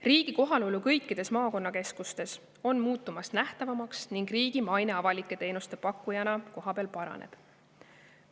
Riigi kohalolu kõikides maakonnakeskustes muutub nähtavamaks ning riigi maine avalike teenuste pakkujana kohapeal paraneb.